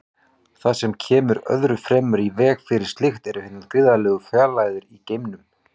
Það sem kemur öðru fremur í veg fyrir slíkt eru hinar gríðarlegu fjarlægðir í geimnum.